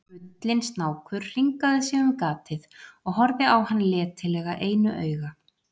Gullinn snákur hringaði sig um gatið og horfði á hann letilega einu auga.